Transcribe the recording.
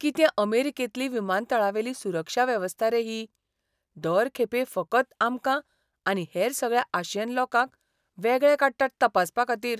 कितें अमेरिकेंतली विमानतळावेली सुरक्षा वेवस्था रे ही. दर खेपे फकत आमकां आनी हेर सगळ्या आशियन लोकांक वेगळे काडटात तपासपाखातीर.